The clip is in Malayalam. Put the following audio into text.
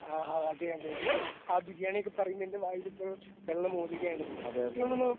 ആ ആ അത്‌ തന്നെ ബിരിയാ ആ ബിരിയാണിയൊക്കെ പറയുമ്പ എൻ്റെ വായിലിപ്പൊ വെള്ളം ഓതുകയാണ് എനിക്ക് തോന്നുണു